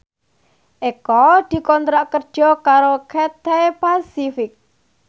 Eko dikontrak kerja karo Cathay Pacific